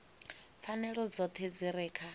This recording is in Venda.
pfanelo dzoṱhe dzi re kha